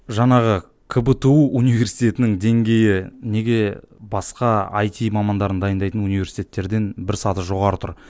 жаңағы кбту университетінің деңгейі неге басқа айти мамандарын дайындайтын университеттерден бір саты жоғары тұр